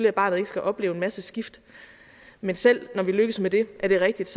at barnet ikke skal opleve en masse skift men selv når vi lykkes med det er det rigtigt